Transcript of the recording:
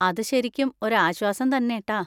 അത് ശരിക്കും ഒരു ആശ്വാസം തന്നെ ട്ടാ.